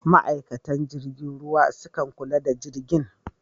Ma'aikatan jirgin ruwa sukan kula da jirgin.